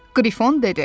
Qrifon dedi.